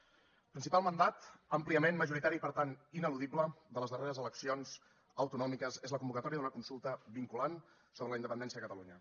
el principal mandat àmpliament majoritari i per tant ineludible de les darreres eleccions autonòmiques és la convocatòria d’una consulta vinculant sobre la independència de catalunya